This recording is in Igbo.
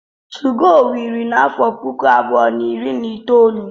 2go wiri n'afọ puku abụọ na iri na itoolu.